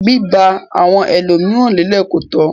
Biba àwọn ẹlomiran lelẹ ko tọ.